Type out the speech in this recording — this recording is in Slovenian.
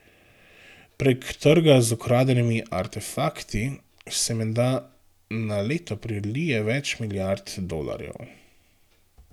Prek trga z ukradenimi artefakti se menda na leto prelije več milijard dolarjev.